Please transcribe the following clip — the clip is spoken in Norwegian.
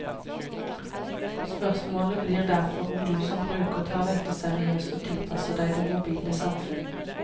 Spørsmålet blir derfor om du som bruker tar dette seriøst og tilpasser deg det mobile samfunn.